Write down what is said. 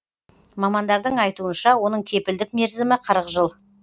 мамандардың айтуынша оның кепілдік мерзімі қырық жыл